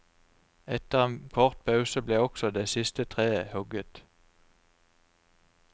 Etter en kort pause ble også det siste treet hugget.